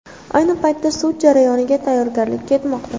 Ayni paytda sud jarayoniga tayyorgarlik ketmoqda.